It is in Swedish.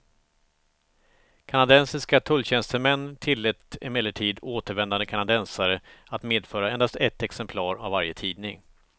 Kanadensiska tulltjänstemän tillät emellertid återvändande kanadensare att medföra endast ett exemplar av varje tidning.